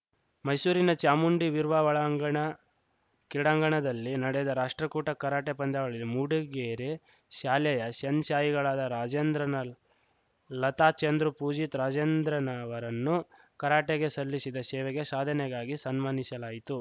ಮೈಶೂರಿನ ಚಾಮುಂಡಿ ವಿರ್ವಾ ಒಳಾಂಗಣ ಕ್ರೀಡಾಂಗಣದಲ್ಲಿ ನಡೆದ ರಾಷ್ಟ್ರಕೂಟ ಕರಾಟೆ ಪಂದ್ಯಾವಳಿಯಲ್ಲಿ ಮೂಡಿಗೆರೆ ಶಾಲೆಯ ಶೆನ್‌ಶಾಯಿಗಳಾದ ರಾಜೇಂದ್ರನ್‌ ಲ್ ಲತಾ ಚಂದ್ರು ಪೂಜಿತ್‌ ರಾಜೇಂದ್ರನ್‌ ಅವರನ್ನು ಕರಾಟೆಗೆ ಶಲ್ಲಿಶಿದ ಶೇವೆಗೆ ಶಾಧನೆಗಾಗಿ ಶನ್ಮಾನಿಶಲಾಯಿತು